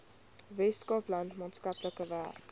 weskaapland maatskaplike werk